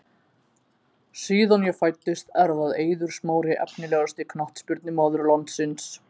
Síðan ég fæddist er það Eiður Smári Efnilegasti knattspyrnumaður landsins?